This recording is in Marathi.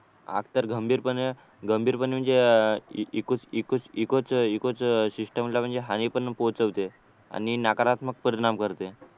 आग तर गंभीरपणे गंभीरपणे म्हणजे इको च इको च सिस्टमला म्हणजे हानी पण पोहोचवते आणि नकारात्मक परिणाम करते